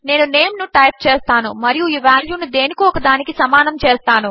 నేను నేమ్ ను టైప్ చేస్తాను మరియు ఈ వాల్యూ ను దేనికో ఒకదానికి సమానము చేస్తాను